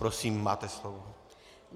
Prosím, máte slovo.